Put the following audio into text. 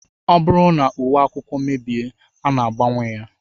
Ọ bụrụ na uwe akwụkwọ mebie, a na-agbanwe ya